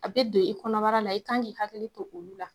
A bɛ don i kɔnɔbara la i kan k'i hakili to olu la.